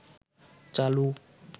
চালু